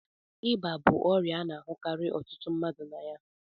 Ịba bụ ọrịa a na-ahụkarị ọtụtụ mmadụ na aya.